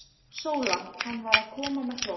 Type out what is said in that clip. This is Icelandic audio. SÓLA: Hann var að koma með þvott.